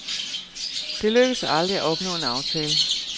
Det lykkedes aldrig at opnå en aftale.